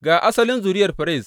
Ga asalin zuriyar Ferez.